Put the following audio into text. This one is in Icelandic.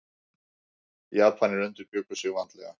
Japanar undirbjuggu sig vandlega.